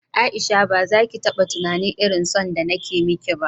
Aisha bazaki taba tunanin irin son da nake miki ba